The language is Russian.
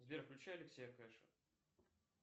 сбер включи алексея кэша